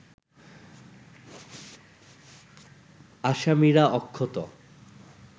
আসামিরা অক্ষত